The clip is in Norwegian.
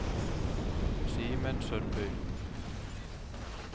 Simen Sundby